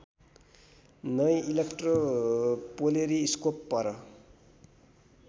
नए इलेक्ट्रोपोलेरीस्कोप पर